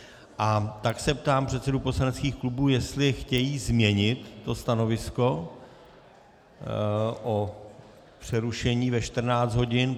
A tak se ptám předsedů poslaneckých klubů, jestli chtějí změnit to stanovisko o přerušení ve 14 hodin.